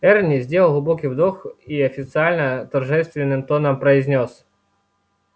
эрни сделал глубокий вдох и официально торжественным тоном произнёс